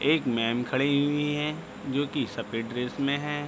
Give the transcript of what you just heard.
एक मैम खड़ी हुई हैं जो की सफ़ेद ड्रेस में हैं।